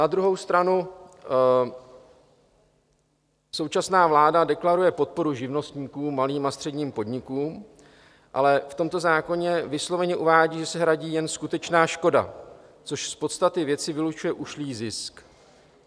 Na druhou stranu současná vláda deklaruje podporu živnostníkům, malým a středním podnikům, ale v tomto zákoně vysloveně uvádí, že se hradí jen skutečná škoda, což z podstaty věci vylučuje ušlý zisk.